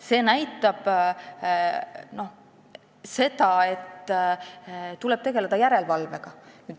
See näitab seda, et tuleb tegeleda järelevalvega.